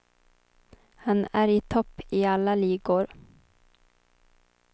Han är i topp i alla ligor.